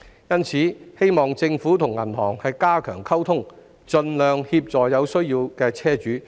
因此，我希望政府與銀行加強溝通，盡量協助有需要的車主。